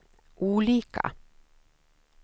olika